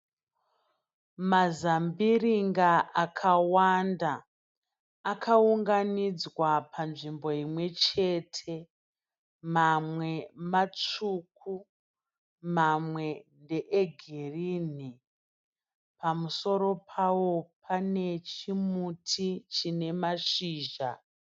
Mazambiringa akawanda akaunganidzwa panzvimbo imwechete. Mamwe matsvuku, mamwe ndeegirinhi. Pamusoro pawo pane chimuti chine mashizha.